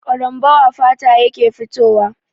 Ƙarambau a fata yake fitowa.